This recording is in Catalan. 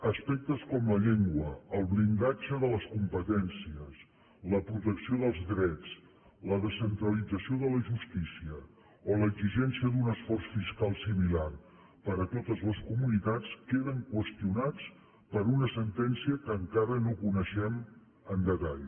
aspectes com la llengua el blindatge de les competències la protecció dels drets la descentralització de la justícia o l’exigència d’un esforç fiscal similar per a totes les comunitats queden qüestionats per una sentència que encara no coneixem amb detall